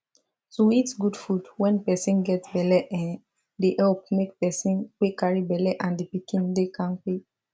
to eat good food when person get belle[um]dey help make person wey carry belle and the pikiin dey kampe